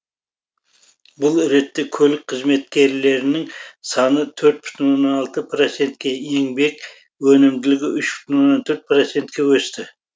бұл ретте көлік қызметкерлерінің саны төрт бүтін оннан алты процентке еңбек өнімділігі үш бүтін оннан төрт процентке өсті